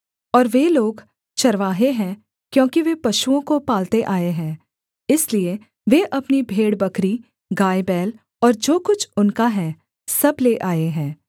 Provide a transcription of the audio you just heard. और वे लोग चरवाहे हैं क्योंकि वे पशुओं को पालते आए हैं इसलिए वे अपनी भेड़बकरी गायबैल और जो कुछ उनका है सब ले आए हैं